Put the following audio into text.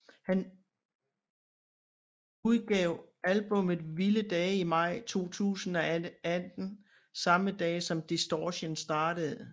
Han udgav albummet vildedage i maj 2018samme dag som Distortion startede